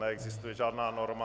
Neexistuje žádná norma.